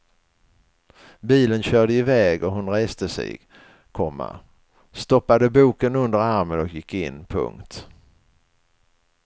Bilen körde iväg och hon reste sig, komma stoppade boken under armen och gick in. punkt